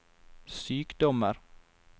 sykdommer